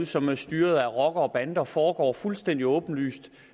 som er styret af rockere og bander og foregår fuldstændig åbenlyst